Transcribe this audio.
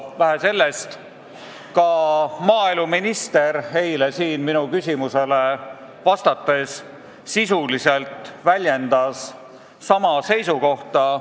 Vähe sellest, ka maaeluminister eile siin minu küsimusele vastates väljendas sisuliselt sama seisukohta.